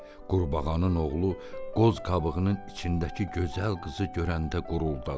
Qurbağanın oğlu qoz qabığının içindəki gözəl qızı görəndə quruldadı.